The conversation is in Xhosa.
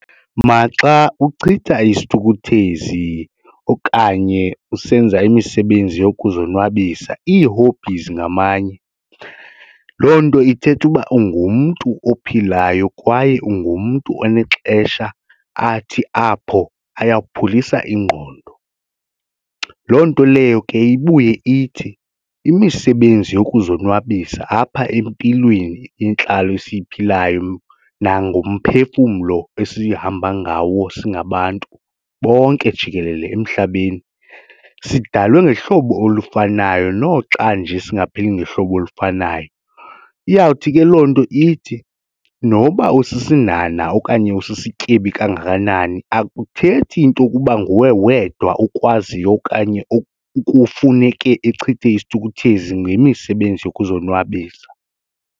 Maxa uchitha isithukuthezi okanye usenza imisebenzi yokuzonwabisa ii-hobbies ngamanye loo nto ithetha uba ungumntu ophilayo kwaye ungumntu onexesha athi apho ayawupholisa ingqondo. Loo nto leyo ke ibuye ithi imisebenzi yokuzonwabisa apha empilweni intlalo esiyiphilayo nangomphefumlo esihamba ngawo singabantu bonke jikelele emhlabeni sidalwe ngehlobo olufanayo noxa nje singaphili ngehlobo olufanayo. Iyawuthi ke loo nto ithi noba usisinhanha okanye usisityebi kangakanani akuthethi into yokuba nguwe wedwa okwaziyo okanye okufuneke echithe isithukuthezi ngemisebenzi yokuzonwabisa.